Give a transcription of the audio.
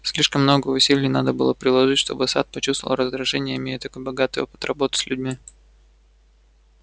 слишком много усилий надо было приложить чтобы сатт почувствовал раздражение имея такой богатый опыт работы с людьми